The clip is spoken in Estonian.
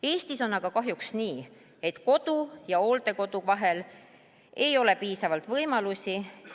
Eestis on aga kahjuks nii, et kodu ja hooldekodu vahel ei ole piisavalt võimalusi.